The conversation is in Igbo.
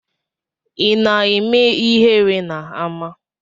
Ina eme ihere na ama?